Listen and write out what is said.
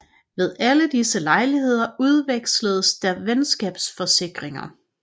Ved alle disse lejligheder udveksledes der venskabsforsikringer